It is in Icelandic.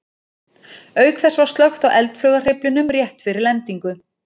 Auk þess var slökkt á eldflaugarhreyflinum rétt fyrir lendingu.